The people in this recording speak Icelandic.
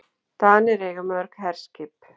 Danir eiga mörg herskip.